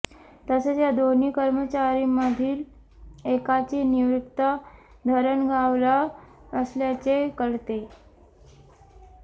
तसेच या दोन्ही कर्मचारीमधील एकाची नियुक्ती धरणगावला असल्याचे कळतेय